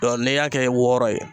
n'i y'a kɛ wɔɔrɔ ye